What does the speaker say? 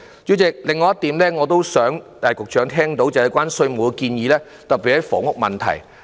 主席，我也想局長聽到另外一點建議，特別是關於房屋問題的。